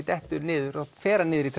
dettur niður fer hann niður í